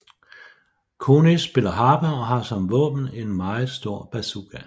Conis spiller harpe og har som våben en meget stor bazooka